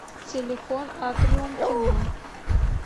телефон атриум кино